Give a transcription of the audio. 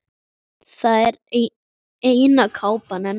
Þetta er eina kápan hennar.